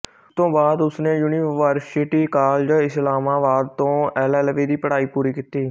ਉਸ ਤੋਂ ਬਾਅਦ ਉਸਨੇ ਯੂਨੀਵਰਸਿਟੀ ਕਾਲਜ ਇਸਲਾਮਾਬਾਦ ਤੋਂ ਐਲਐਲਬੀ ਦੀ ਪੜ੍ਹਾਈ ਪੂਰੀ ਕੀਤੀ